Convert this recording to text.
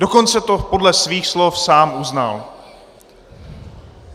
Dokonce to podle svých slov sám uznal.